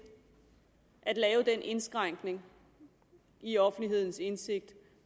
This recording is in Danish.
at lave den indskrænkning i offentlighedens indsigt og